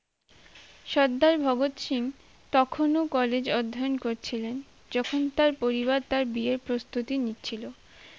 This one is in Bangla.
সর্দার ভগৎ সিং তখনও college অধ্যায়ন করছিলেন যখন তার পরিবার তার বিয়ের প্রস্তুতি নিচ্ছিল